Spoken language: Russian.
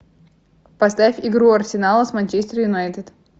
поставь игру арсенала с манчестер юнайтед